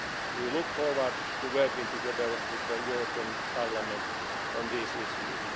agenda. We look forward to working together with the European Parliament on these